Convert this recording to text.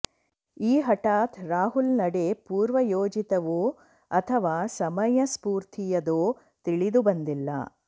ಈ ಹಠಾತ್ ರಾಹುಲ್ ನಡೆ ಪೂರ್ವಯೋಜಿತವೋ ಅಥವಾ ಸಮಯಸ್ಫೂರ್ತಿಯದೋ ತಿಳಿದು ಬಂದಿಲ್ಲ